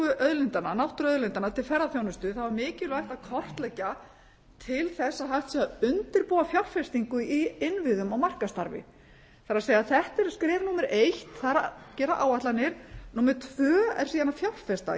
auðlindanna náttúruauðlindanna til ferðaþjónustu þá er mikilvægt að kortleggja til þess að hægt sé að undirbúa fjárfestingu í innviðum og markaðsstarfi það er þetta eru skref númer eitt það er að gera áætlanir númer tvö er síðan að fjárfesta